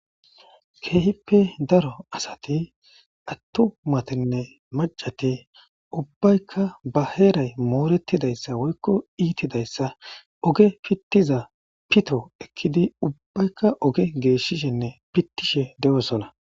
Keehippe daro asati attumatinne macati ubbaykka baheeray moorettidayssa woykko iitidayssa oge pittiza pito ekkidi ubbaykka oge geeshishenne pittishe de7osona.